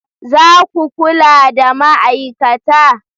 Za ku kula da ma'aikata?